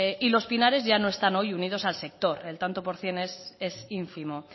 los pinares ya no están hoy unidos al sector el tanto por cien es ínfimo